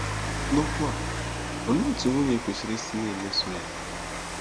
N'okwu a, olee otú nwunye kwesịrị isi na-emeso ya?